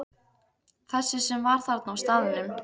Þessi sem var þarna á staðnum?